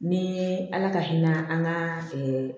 Ni ala ka hinɛ an ka